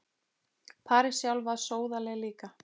París sjálf var sóðaleg líka.